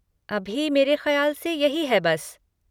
अभी मेरे ख़याल से यही है बस।